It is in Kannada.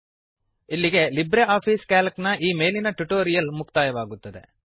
ಇಲ್ಲಿಗೆ ಲಿಬ್ರೆ ಆಫಿಸ್ ಕ್ಯಾಲ್ಕ್ ನ ಮೇಲಿನ ಈ ಟ್ಯುಟೋರಿಯಲ್ ಮುಕ್ತಾಯವಾಗುತ್ತದೆ